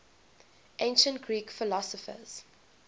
ancient greek philosophers